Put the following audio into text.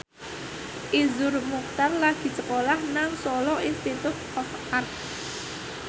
Iszur Muchtar lagi sekolah nang Solo Institute of Art